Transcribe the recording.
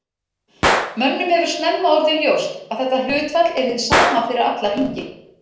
Mönnum hefur snemma orðið ljóst að þetta hlutfall er hið sama fyrir alla hringi.